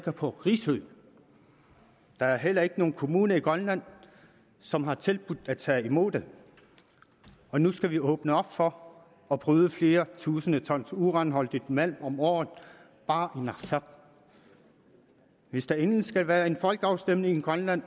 på risø der er heller ikke nogen kommune i grønland som har tilbudt at tage imod det og nu skal vi åbne op for at bryde flere tusinde ton uranholdigt malm om året bare i narsaq hvis der endelig skal være en folkeafstemning i grønland